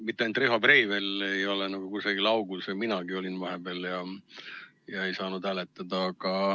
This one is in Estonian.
Mitte ainult Riho Breivel ei ole kusagil augus, minagi olin ka vahepeal ja ei saanud hääletada.